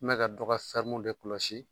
N bɛ ka dɔ ka serɔmu de kɔlɔsi